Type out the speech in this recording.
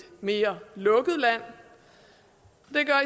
mere lukket land